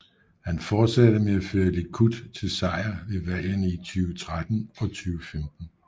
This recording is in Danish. Han fortsatte med at føre Likud til sejr ved valgene i 2013 og 2015